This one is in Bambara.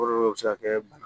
Kɔlɔlɔ bɛ se ka kɛ bana